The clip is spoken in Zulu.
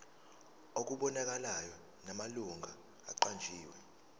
okubonakalayo namalungu aqanjiwe